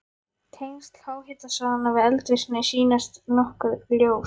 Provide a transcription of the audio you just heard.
Tengsl háhitasvæðanna við eldvirkni sýnast nokkuð ljós.